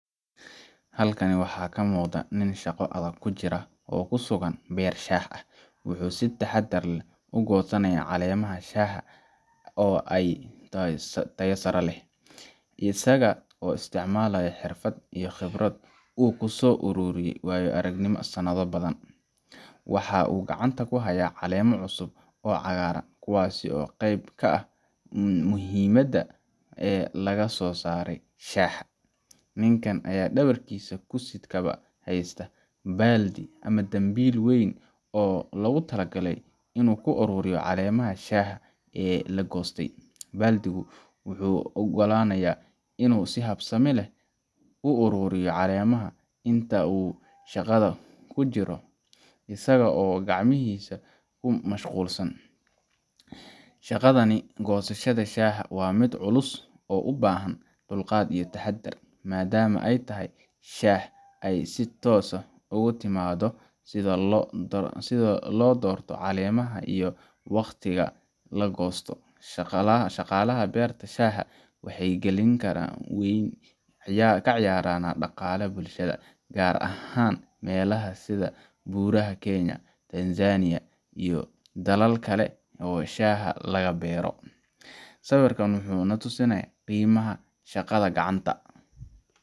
Halkan waxaa ka muuqda nin shaqo adag ku jira, oo ku sugan beer shaah ah. Wuxuu si taxaddar leh uga goosanayaa caleemaha shaaha oo tayo sare leh, isaga oo isticmaalaya xirfad iyo khibrad uu ku soo ururiyay waayo-aragnimo sanado badan. Waxa uu gacanta ku hayaa caleemo cusub oo cagaaran, kuwaas oo ah qaybta ugu muhiimsan ee laga soo saaro shaaha. Ninka ayaa dhabarkiisa ku sidkaba haysta baaldi ama dambiil weyn oo loogu talagalay in lagu ururiyo caleemaha shaaha ee la goostay. Baaldigu wuxuu u oggolaanayaa inuu si habsami leh u ururiyo caleemaha inta uu shaqada ku guda jiro, isaga oo aan gacmihiisa ku mashquulin. Shaqadan goosashada shaaha waa mid culus oo u baahan dulqaad iyo taxaddar, maadaama tayada shaaha ay si toos ah uga timaado sida loo doorto caleemaha iyo waqtiga la goosto. Shaqaalaha beerta shaaha waxay kaalin weyn ka ciyaaraan dhaqaalaha bulshada, gaar ahaan meelaha sida Buuraha Kenya, Tanzania, iyo dalal kale oo shaaha laga beero. Sawirkan wuxuu na tusayaa qiimaha shaqada gacanta